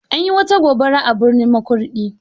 Anyi wata gobara a birnin Makurdi.